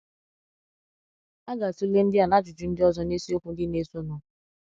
A ga-atụle ndị à na ajụjụ ndị ọzọ n’isiokwu ndị na-esonụ.